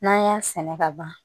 N'an y'a sɛnɛ ka ban